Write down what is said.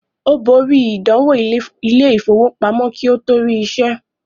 Ó borí “ìdánwò Ilé-ìfowópamọ́ ” kí ó tó rí iṣẹ́.